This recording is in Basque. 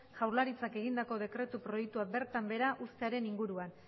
jaurlaritzak egindako dekretu proiektua bertan behera uztearen inguruan